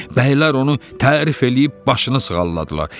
Bəylər onu tərif eləyib başını sığalladılar.